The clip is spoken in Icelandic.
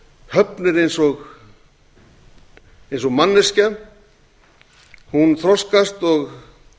höfn er eins og manneskja hún þroskast og